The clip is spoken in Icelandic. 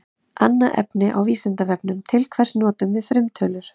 Annað efni á Vísindavefnum: Til hvers notum við frumtölur?